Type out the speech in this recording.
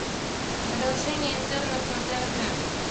продолжение интернов на тнт